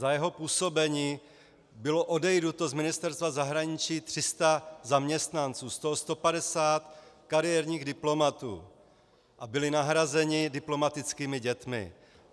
Za jeho působení bylo odejito z Ministerstva zahraničí 300 zaměstnanců, z toho 150 kariérních diplomatů, a byli nahrazeni diplomatickými dětmi.